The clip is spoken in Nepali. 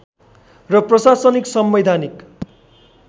र प्रशासनिक संवैधानिक